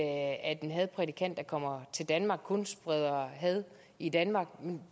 at en hadprædikant der kommer til danmark kun spreder had i danmark